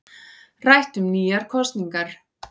Rætt um nýjar kosningar